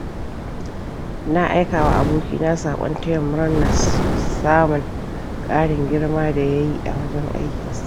Na aikawa aboki na saƙon taya murnar samun ƙarin girma da yayi a wajen aikin sa.